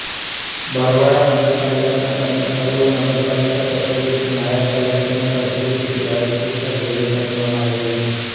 બરવાળા નગરપાલિકાના કર્મચારીઓ નગરપાલિકા કચેરીથી નાયબ કલેકટરની કચેરી સુધી બાઇક ઉપર રેલી કાઢવામાં આવી હતી